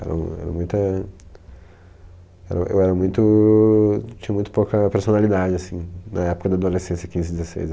Era muita, era eu era muito... Eu tinha muito pouca personalidade assim na época da adolescência, quinze, dezesseis